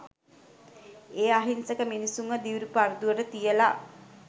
ඒ අහිංසක මිනිස්සුන්ව දිවි පරදුවට තියල